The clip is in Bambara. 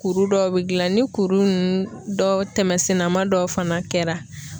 Kuru dɔw be gilan, ni kuru nunnu dɔw tɛmɛsenna ma dɔw fana kɛra